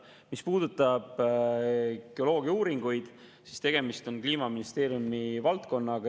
Mis puudutab geoloogiauuringuid, siis tegemist on Kliimaministeeriumi valdkonnaga.